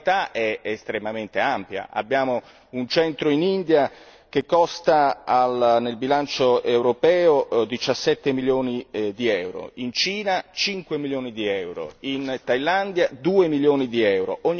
La varietà è estremamente ampia, abbiamo un centro in India che costa nel bilancio europeo 17 milioni di euro, in Cina 5 milioni di euro, in Tailandia 2 milioni di euro.